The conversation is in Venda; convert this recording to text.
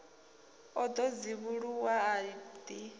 o ḓo dzivhuluwa a ḓi